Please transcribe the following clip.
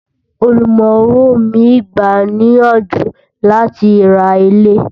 ọ̀lumorán owó mí gbà ní iyànjú là tí rà ilé